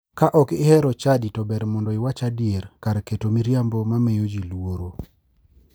Ka ok ihero chadi to ber mondo iwach adier kar keto miriambo ma miyo ji luoro.